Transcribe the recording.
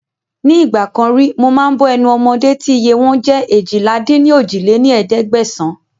Ní ìgbàkan ríi mo máa ń bọ́ ẹnu ọmọdé tí iye wọn jẹ́ eéjìlá-dín-ní-ojì lé ní ẹ̀ẹ́dẹ́gbẹ́sán